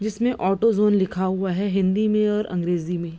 जिसमें auto zone लिखा हुआ है हिंदी में और अंग्रेजी में।